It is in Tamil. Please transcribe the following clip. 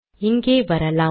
இங்கே வரலாம்